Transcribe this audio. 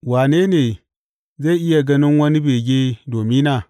Wane ne zai iya ganin wani bege domina?